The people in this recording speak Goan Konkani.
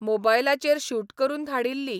मोबायलाचेर शूट करून धाडिल्ली.